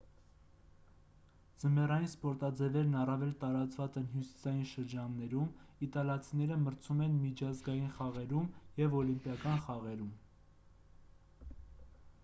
ձմեռային սպորտաձևերն առավել տարածված են հյուսիսային շրջաններում իտալացիները մրցում են միջազգային խաղերում և օլիմպիական խաղերում